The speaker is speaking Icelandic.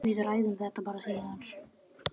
Við ræðum þetta bara síðar.